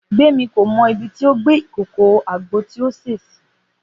Gbémi kò mọ ibi tí ó gbé ìkòkò àgbo tí ó sè sí